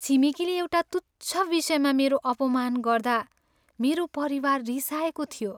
छिमेकीले एउटा तुच्छ विषयमा मेरो अपमान गर्दा मेरो परिवार रिसाएको थियो।